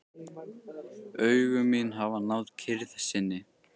Augu mín hafa náð kyrrð sinni.